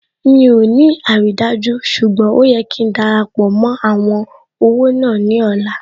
Mi ò ní àrídájú ṣùgbọ́n ó yẹ kí darapọ̀ mó àwọn ọ̀wọ́ náà ní ọ̀la